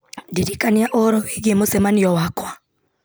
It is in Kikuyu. ndirikania ũhoro wĩgiĩ mũcemanio wakwa